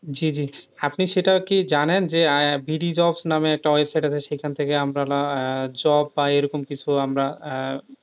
জি, জি, আপনি সেটা কি জানেন যে নামে একটা website সেখান থেকে আমরা job পাই, এরকম কিছু আমরা আহ